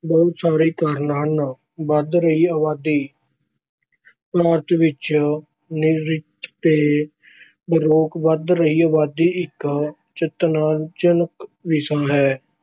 ਬਹੁਤ ਸਾਰੇ ਕਾਰਨ। ਹਨ ਵਧ ਰਹੀ ਅਬਾਦੀ- ਭਾਰਤ ਵਿੱਚ ਨਿਰੰਤਰ ਤੇ ਬੇਰੋਕ ਵਧ ਰਹੀ ਅਬਾਦੀ ਇੱਕ ਚਿੰਤਾਜਨਕ ਵਿਸ਼ਾ ਹੈ।